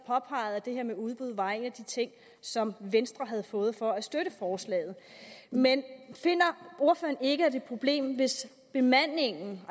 at det her med udbud var en af de ting som venstre havde fået for at støtte forslaget men finder ordføreren ikke at det er et problem hvis bemandingen